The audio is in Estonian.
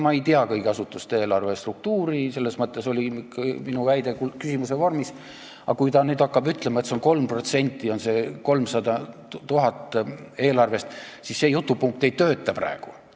Ma ei tea kõigi asutuste eelarve struktuuri ja selles mõttes oli minu väide küsimuse vormis, aga kui ta nüüd hakkab ütlema, et see 300 000 on 3% eelarvest, siis see jutupunkt ei tööta praegu.